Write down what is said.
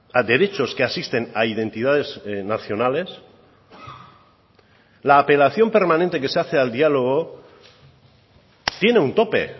a derechos que asisten a identidades nacionales la apelación permanente que se hace al diálogo tiene un tope